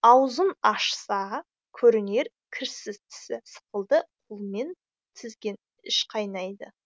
аузың ашса көрінер кірсіз тісі сықылды қолмен тізген іш қайнайды